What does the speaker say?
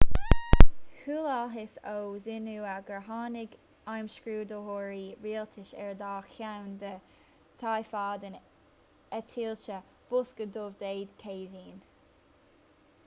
chualathas ó xinhua gur tháinig imscrúdaitheoirí rialtais ar dhá cheann de thaifeadán eitilte bosca dubh' dé céadaoin